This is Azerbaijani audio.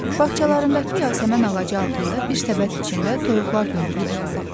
Bağçalarındakı yasəmən ağacı altında bir səbət içində toyuqlar yumurtlayırdı.